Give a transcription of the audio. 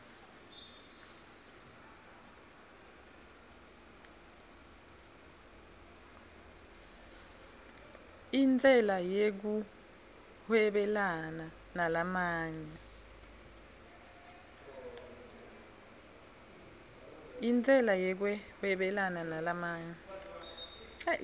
intsela yekuhwebelana nalamanye